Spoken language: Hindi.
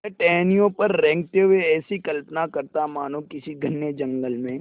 वह टहनियों पर रेंगते हुए ऐसी कल्पना करता मानो किसी घने जंगल में